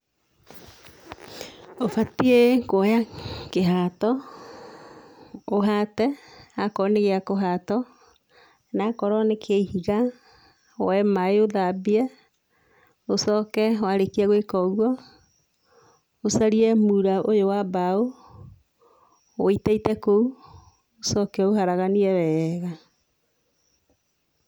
Ũbatie kũoya kĩhato ũhate akorwo nĩ gĩa kũhatwo na akorwo nĩ kĩa ihiga woe mai ũthambie ũcoke warĩkia gũĩka ũguo, ũcarie mura ũyũ wa mbaũ wĩiteite kũu, ũcoke ũũharaganie wega.